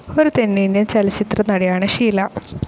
ഒരു തെന്നിന്ത്യൻ ചലച്ചിത്രനടിയാണ് ഷീല.